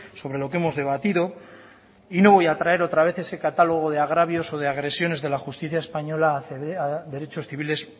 sobre lo que hemos debatido y no voy a traer otra vez ese catálogo de agravios o de agresiones de la justicia española a a derechos civiles